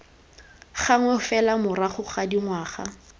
gangwe fela morago ga dingwaga